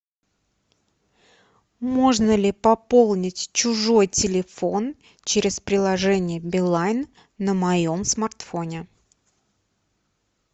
можно ли пополнить чужой телефон через приложение билайн на моем смартфоне